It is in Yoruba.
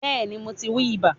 Bẹ́ẹ̀ni mo ti wi ibà